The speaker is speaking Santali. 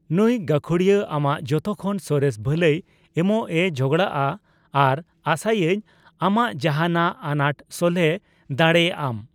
ᱱᱩᱭ ᱜᱟᱹᱠᱷᱩᱲᱤᱭᱟᱹ ᱟᱢᱟᱜ ᱡᱚᱛᱚᱠᱷᱚᱱ ᱥᱚᱨᱮᱥ ᱵᱷᱟᱹᱞᱟᱹᱭ ᱮᱢᱚᱜ ᱮ ᱡᱟᱸᱜᱲᱟᱜᱼᱟ ᱟᱨ ᱟᱥᱟᱭᱟᱹᱧ ᱟᱢᱟᱜ ᱡᱟᱦᱟᱱᱟᱜ ᱟᱱᱟᱴ ᱥᱚᱞᱦᱮ ᱰᱟᱲᱮᱭᱟᱜᱼᱟᱢ᱾